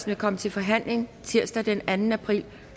vil komme til forhandling tirsdag den anden april